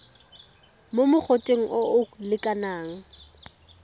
mo mogoteng o o lekanang